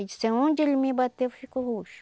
Ele disse aonde ele me bateu ficou roxo.